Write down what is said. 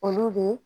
Olu de